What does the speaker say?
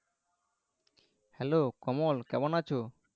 Hello Kamal কেমন আছো?